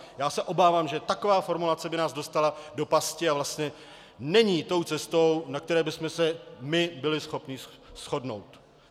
Já se obávám, že taková formulace by nás dostala do pasti a vlastně není tou cestou, na které bychom se byli my schopni shodnout.